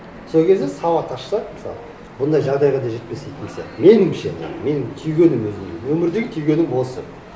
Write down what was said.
сол кезде сауат ашса мысалы бұндай жағдайға да жетпес еді сияқты меніңше менің түйгенім өзімнің өмірдегі түйгенім осы